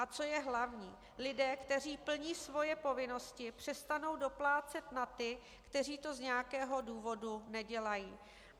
A co je hlavní, lidé, kteří plní svoje povinnosti, přestanou doplácet na ty, kteří to z nějakého důvodu nedělají.